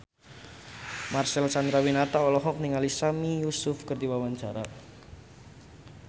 Marcel Chandrawinata olohok ningali Sami Yusuf keur diwawancara